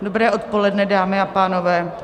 Dobré odpoledne, dámy a pánové.